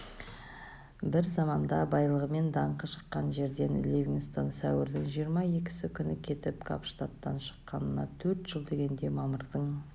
бір заманда байлығымен даңқы шыққан жерден ливингстон сәуірдің жиырма екісі күні кетіп капштадтан шыққанына төрт жыл дегенде мамырдың